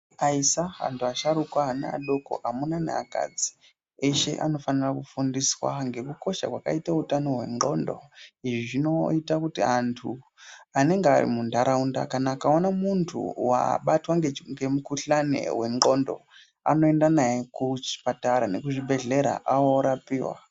Aisa antu asharukwa ana adoko amuna neakadzi eshe anofane kufundiswa ngekukosha kwakaite utano hwenxlondo izvi zvinoita kuti antu anenge arimunharaunda kana akaona muntu wabatwa ngemukuhlani hwenxlondo anoenda naye kuchipatara nekuchibhehleya orapiwa.